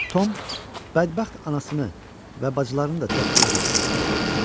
Tom bədbəxt anasını və bacılarını da çox gec-gec xatırlayırdı.